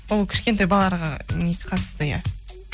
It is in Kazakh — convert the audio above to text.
ол кішкентай балаларға қатысты иә